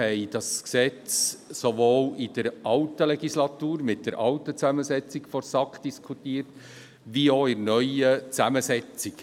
Wir haben dieses Gesetz sowohl in der vergangenen Legislatur in der alten Zusammensetzung der SAK diskutiert als auch in der neuen Zusammensetzung.